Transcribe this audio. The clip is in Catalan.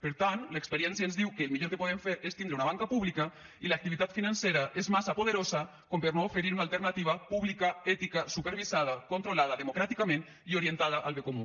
per tant l’experiència ens diu que el millor que podem fer és tindre una banca pública i l’activitat financera és massa poderosa per no oferir una alternativa pública ètica supervisada controlada democràticament i orientada al bé comú